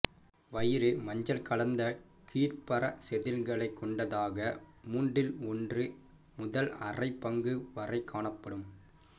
வயிறு மஞ்சள் கலந்த கீழ்ப்பற செதில்களைக் கொண்டதாக மூன்றில் ஒன்று முதல் அரைப் பங்கு வரைக் காணப்படும்